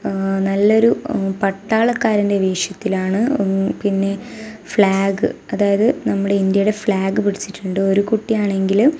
ആ നല്ലൊരു മ് പട്ടാളക്കാരന്റെ വേഷത്തിലാണ് മ്ഹ് പിന്നെ ഫ്ലാഗ് അതായത് നമ്മുടെ ഇന്ത്യയുടെ ഫ്ലാഗ് പിടിച്ചിട്ടൊണ്ട് ഒരു കുട്ടി ആണെങ്കില്--